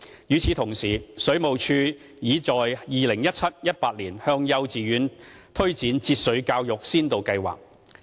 與此同時，水務署擬在 2017-2018 學年向幼稚園推展節水教育先導計劃。